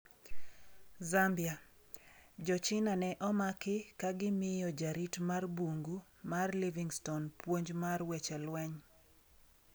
Zambia: Jo China ne omaki ka gimiyo jarit mar bungu mar Livingstone puonj mar weche lweny